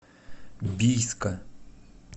бийска